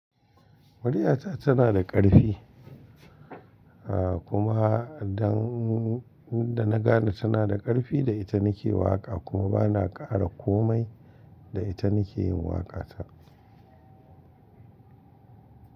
Muryata tana da ƙarfi, ah kuma da na gane tana da ƙarfi da ita nake waƙa kuma bana kara komai da ita nake yin waƙata.